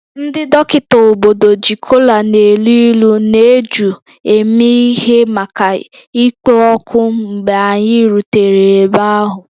Ndị dọkịta obodo ji kola na-elu ilu na eju eme ihe maka ịkpọ oku mgbe anyị rutere ebe ahụ